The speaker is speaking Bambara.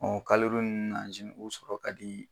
nn na sɔrɔ ka di